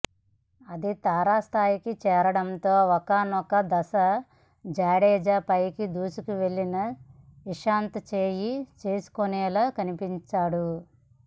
అది తారాస్థాయికి చేరడంతో ఒకానొక దశలో జడేజాపైకి దూసుకెళ్లిన ఇషాంత్ చేయి చేసుకునేలా కనిపించాడు